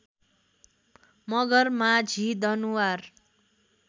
Magar Majhi Danuwar